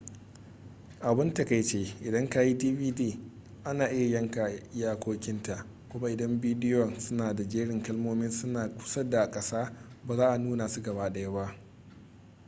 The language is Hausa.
abun takaici idan kayi dvd ana iya yanka iyakokin ta kuma idan bidiyon suna da jerin kalmomin suna kusa da kasa ba za a nuna su gabaɗaya ba